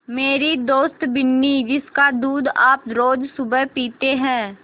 मेरी दोस्त बिन्नी जिसका दूध आप रोज़ सुबह पीते हैं